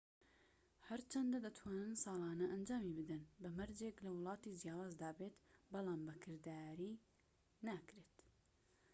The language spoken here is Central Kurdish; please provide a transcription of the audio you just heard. هەرچەندە دەتوانن ساڵانە ئەنجامی بدەن بەمەرجێك لە وڵاتی جیاوازدا بێت بەڵام بە کردارەکی ناکرێت